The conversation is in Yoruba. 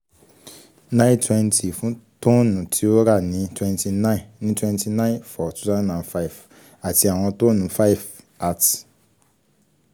nine twenty fun tonne ti o ra ni twenty nine ni twenty nine two thousand and five ati awọn tonne five at